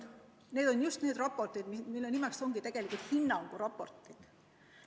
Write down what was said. Need on just need raportid, mis sisult ongi tegelikult hinnanguraportid.